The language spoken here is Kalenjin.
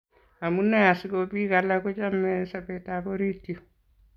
Amune asikobik alak kochomei sobetab orit you